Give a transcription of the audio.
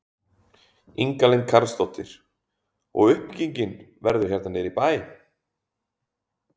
Inga Lind Karlsdóttir: Og uppbyggingin verður hérna niðri í bæ?